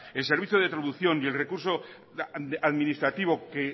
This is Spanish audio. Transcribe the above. el servicio de traducción y el recurso administrativo que